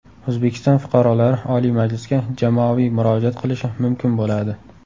O‘zbekiston fuqarolari Oliy Majlisga jamoaviy murojaat qilishi mumkin bo‘ladi.